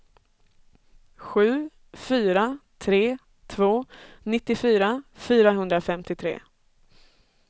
sju fyra tre två nittiofyra fyrahundrafemtiotre